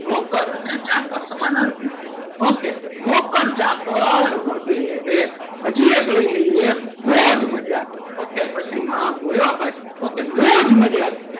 નોકર અને ચાકર સમાનાર્થી જ છે ok નોકર ચાકર વગેરે હજી એક લઈ લઈએ મોજ મજા ok પછી માફ હોય હો ભાઈ ok મોજ મજા,